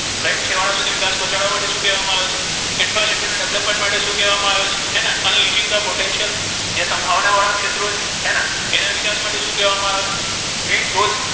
right છેવાડા સુધી વિકાસ પહોચાડવા માટે શુ કહેવામા આવે છે infra city ના development માટે શુ કહેવામા આવ્યુ છે હે ને unlacing the potential જે સમ્ભાવના વાળા ક્ષેત્રો હે ને તેના વિકાસ માટે શુ કહેવામા આવે છે green groth,